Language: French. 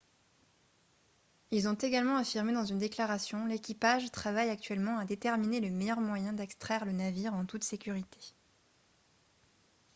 ils ont également affirmé dans une déclaration :« l'équipage travaille actuellement à déterminer le meilleur moyen d'extraire le navire en toute sécurité »